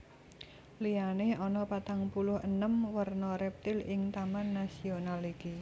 Liyane ana patang puluh enem werna reptil ing taman nasional iki